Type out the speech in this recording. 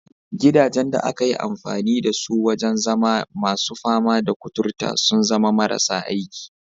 Gidajen da aka yi amfani da su wajen zama masu fama da kuturta sun zama marasa aiki.